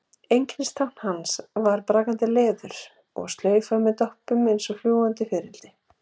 Einkennistákn hans voru brakandi leður og slaufa með doppum eins og fljúgandi fiðrildi.